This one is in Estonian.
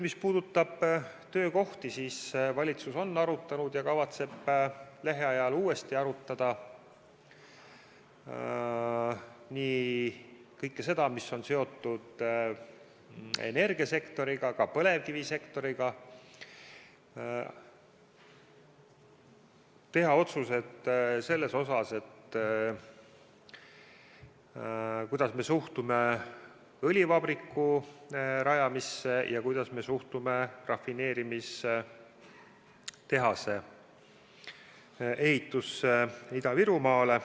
Mis puudutab töökohti, siis valitsus on arutanud ja kavatseb lähiajal uuesti arutada kõike seda, mis on seotud energiasektoriga, ka põlevkivisektoriga, ning teha otsused selle kohta, kuidas me suhtume õlivabriku rajamisse ja rafineerimistehase ehitamisse Ida-Virumaale.